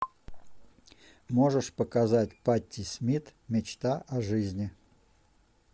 можешь показать патти смит мечта о жизни